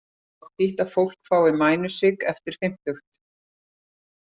Þannig er fátítt að fólk fái mænusigg eftir fimmtugt.